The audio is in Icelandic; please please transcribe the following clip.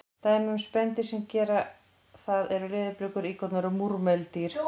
Dæmi um spendýr sem gera það eru leðurblökur, íkornar og múrmeldýr.